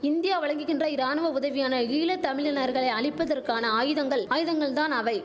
India வழங்குகின்ற இராணுவ உதவியான ஈழ தமிழினர்களை அழிப்பதற்கான ஆயுதங்கள் ஆயுதங்கள் தான் அவை